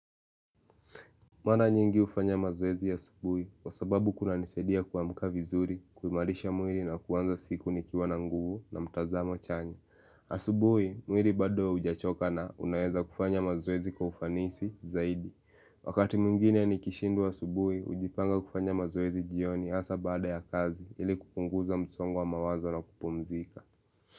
Mara nyingi ufanya mazoezi asubuhi kwa sababu kuna nisadia kua mkavizuri, kuimarisha mwiri na kuwanza siku nikiwa na nguvu na mtazamo chanya. Asubuhi, mwiri bado ujachoka na unaeza kufanya mazoezi kwa ufanisi zaidi. Wakati mwingine ni kishindwa asubuhi, ujipanga kufanya mazoezi jioni asa baada ya kazi ili kupunguza msongo wa mawazo na kupumzika.